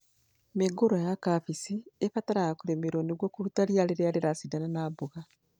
Mĩũngũrwa ya kambĩji ĩbataraga kũrĩmĩrwo nĩguo kũruta rĩa rĩrĩa rĩracindana na mboga